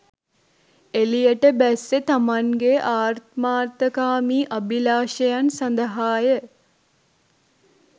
එලියට බැස්සේ තමන්ගේ ආත්මාර්ථකාමී අභිලාෂයන් සඳහාය.